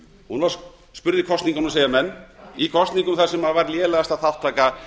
hún var spurð í kosningunum segja menn í kosningunum þar sem var lélegasta þátttaka